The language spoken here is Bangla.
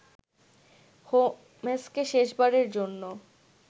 হোম্স্কে শেষ বারের জন্য